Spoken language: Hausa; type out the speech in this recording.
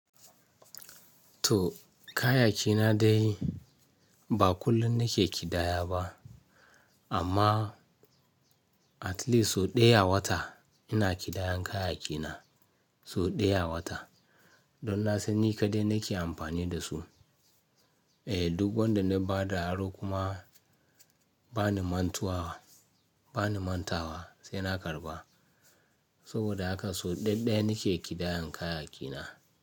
To, kayaki na dai ba kullum na ke ƙidaya ba, amma, at least sau ɗaya a wata, ina ƙidayan kayaki na, sau ɗaya a wata don na san ni kaɗai na ke amfani da su. Eh duk wanda na ba da aro kuma, ba ni mantuwa, bani mantawa sai na karɓa. Saboda haka sau ɗaya-ɗaya na ke ƙidayan kayaki na.